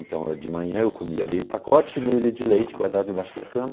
Então de manhã eu comia meio pacote e meio litro de leite, guardava debaixo da cama.